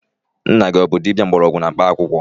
Nna gị abụ dibia mgbọrọgwụ na mkpaakwụkwọ?